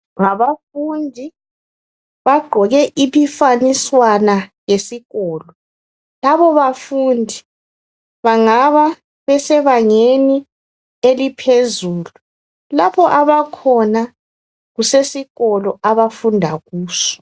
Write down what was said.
Ngabafundi bagqoke iphifaniswana yesikolo labo bafundi bangaba besebangeni eliphezulu lapho abakhona kusesikolo abafunda kuso